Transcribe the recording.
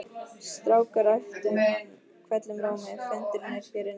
Strákar æpti hann hvellum rómi, fundurinn er hér inni